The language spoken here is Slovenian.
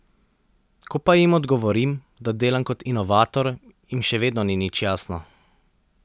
Ko pa jim odgovorim, da delam kot inovator, jim še vedno ni nič jasno.